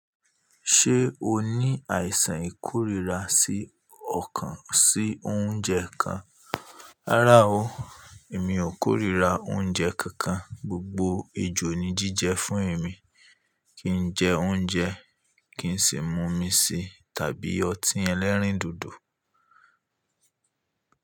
Ṣé o ní àìsàn ìkórìíra sí ọ̀kan sí oúnjẹ kan? Rárá o, èmi ò kórìíra oúnjẹ kankan. Gbogbo ejò ni jíjẹ fún èmi. Kí n jẹ oúnjẹ, kì í sì mú omi sí tàbí ọtí ẹlẹ́rìndòdò.